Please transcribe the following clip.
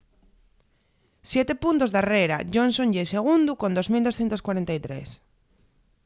siete puntos darrera johnson ye segundu con 2.243